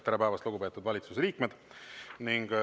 Tere päevast, lugupeetud valitsuse liikmed!